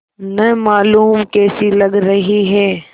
न मालूम कैसी लग रही हैं